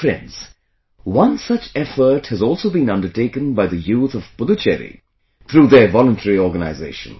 Friends, one such effort has also been undertaken by the youth of Puducherry through their voluntary organizations